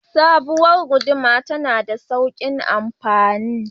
Sabowar gudumar tana da saukin amfani